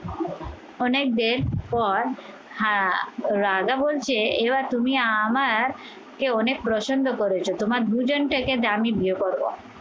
অনেকদের পদ হ্যাঁ রাজা বলছে এবার তুমি আমার কে অনেক প্রসন্ন করেছো তোমার দুজন থেকে দামি বিয়ে করবো